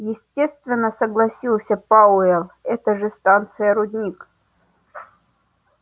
естественно согласился пауэлл это же станция-рудник